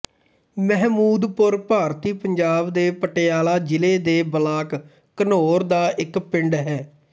ਮਹਿਮੂਦਪੁਰ ਭਾਰਤੀ ਪੰਜਾਬ ਦੇ ਪਟਿਆਲਾ ਜ਼ਿਲ੍ਹੇ ਦੇ ਬਲਾਕ ਘਨੌਰ ਦਾ ਇੱਕ ਪਿੰਡ ਹੈ